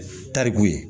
Tariku ye